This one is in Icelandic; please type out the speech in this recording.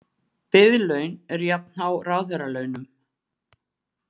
Biðlaun eru jafnhá ráðherralaunum